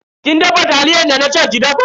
Kin dafa taliyar da na ce ki dafa?